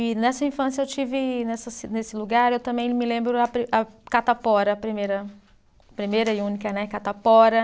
E nessa infância eu tive, nessa ci, nesse lugar, eu também me lembro a pri, a catapora, a primeira, primeira e única, né, catapora.